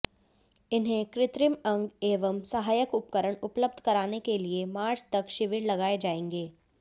इन्हें कृत्रिम अंग एवं सहायक उपकरण उपलब्ध कराने के लिए मार्च तक शिविर लगाये जायेंगे